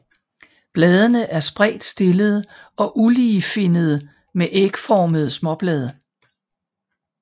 Bladene er spredt stillede og uligefinnede med ægformede småblade